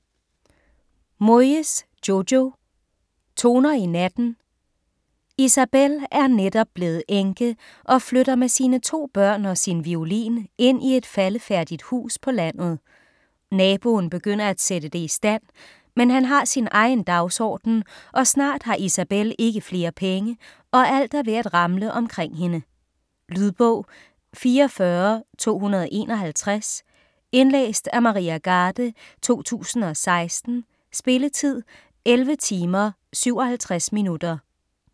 Moyes, Jojo: Toner i natten Isabel er netop blevet enke og flytter med sine to børn og sin violin ind i et faldefærdigt hus på landet. Naboen begynder at sætte det i stand, men han har sin egen dagsorden, og snart har Isabel ikke flere penge, og alt er ved at ramle omkring hende. Lydbog 44251 Indlæst af Maria Garde, 2016. Spilletid: 11 timer, 57 minutter.